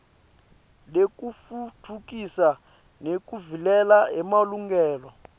lekutfutfukisa nekuvikela emalungelo